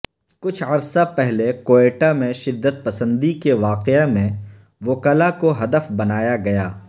کچھ عرصہ پہلے کوئٹہ میں شدت پسندی کے واقعے میں وکلا کو ہدف بنایا گیا